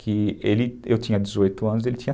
que ele, eu tinha dezoito anos e ele tinha